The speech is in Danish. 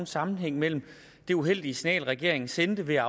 sammenhæng mellem det uheldige signal regeringen sendte ved